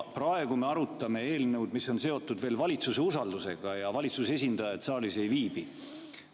Praegu me arutame eelnõu, mis on seotud veel valitsuse usaldusega, aga valitsuse esindajat saalis ei viibi.